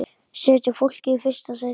Setjum fólkið í fyrsta sæti.